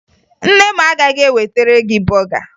Nne m agaghị ewetere gị bọga